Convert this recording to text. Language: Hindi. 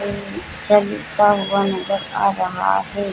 हुआ नजर आ रहा है।